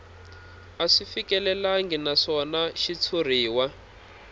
a swi fikelelangi naswona xitshuriwa